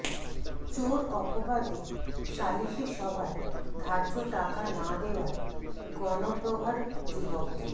চোর অপবাদে সালিশি সভায় ধার্য টাকা না দেওয়ায় গণপ্রহার যুবককে